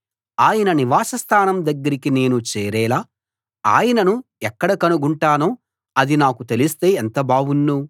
ఆయన నివాసస్థానం దగ్గరికి నేను చేరేలా ఆయనను ఎక్కడ కనుగొంటానో అది నాకు తెలిస్తే ఎంత బావుణ్ను